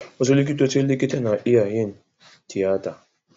Wasu likitocin likita na iya yin tiyata.